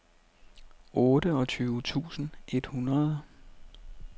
otteogtyve tusind et hundrede